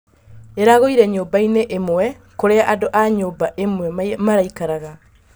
Ĩragũire nyũmba iinĩ imwe kũria andũ a nyũmba ĩmwe maraikaraga